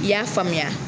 I y'a faamuya